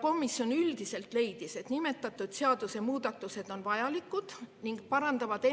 Komisjon üldiselt leidis, et nimetatud seadusemuudatused on vajalikud ning need ennekõike parandavad